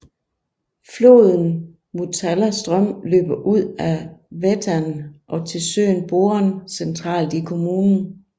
Floden Motala ström løber ud af Vättern og til søen Boren centralt i kommunen